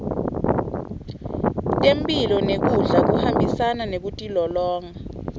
temphilo nekudla kuhambisana nekutilolonga